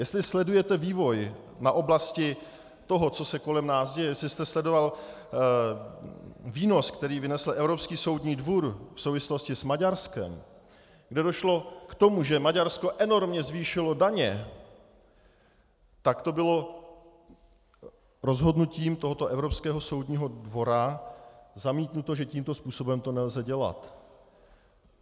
Jestli sledujete vývoj v oblasti toho, co se kolem nás děje, jestli jste sledoval výnos, který vynesl Evropský soudní dvůr v souvislosti s Maďarskem, kde došlo k tomu, že Maďarsko enormně zvýšilo daně, tak to bylo rozhodnutím tohoto Evropského soudního dvora zamítnuto, že tímto způsobem to nelze dělat.